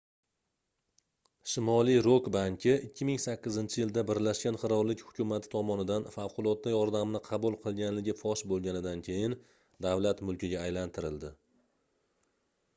shimoliy rok banki 2008-yilda birlashgan qirollik hukumati tomonidan favqulodda yordamni qabul qilganligi fosh boʻlganidan keyin davlat mulkiga aylantirildi